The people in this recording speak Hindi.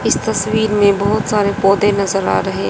इस तस्वीर में बहुत सारे पौधे नजर आ रहे--